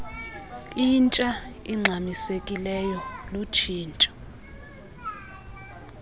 intsha ingxamisekileyo lutshintsho